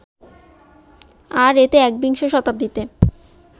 আর এতে একবিংশ শতাব্দীতে